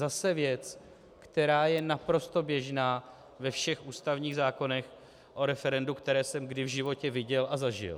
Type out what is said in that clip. Zase věc, která je naprosto běžná ve všech ústavních zákonech o referendu, které jsem kdy v životě viděl a zažil.